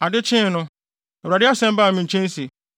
Adekyee no, Awurade asɛm baa me nkyɛn se,